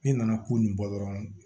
Ne nana ko nin bɔ dɔrɔn